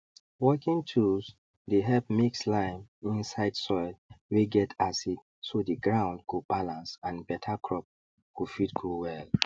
working tools dey help mix lime inside soil wey get acid so the ground go balance and better crop go fit grow well